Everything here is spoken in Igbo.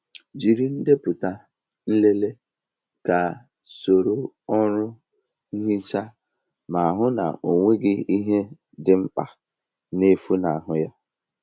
Jiri ndepụta nlele ka soro ọrụ nhicha ma hụ na ọ nweghị ihe dị mkpa na-efunahụ ya.